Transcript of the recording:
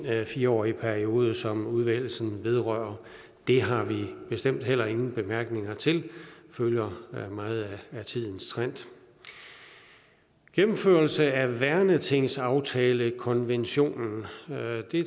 fire årige periode som udvælgelsen vedrører det har vi bestemt heller ingen bemærkninger til det følger meget af tidens trend gennemførelsen af værnetingsaftalekonventionen